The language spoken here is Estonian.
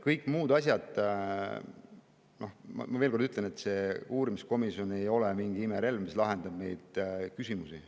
Kõigi muude asjade kohta ma veel kord ütlen, et see uurimiskomisjon ei ole mingi imerelv, mis lahendab neid küsimusi.